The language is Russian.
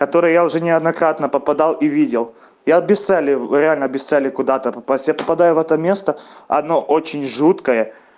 который я уже неоднократно попадал и видел я без цели реально без цели куда-то после я попадаю в это место оно очень жуткое